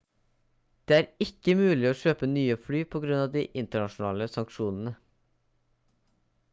det er ikke mulig å kjøpe nye fly på grunn av de internasjonale sanksjonene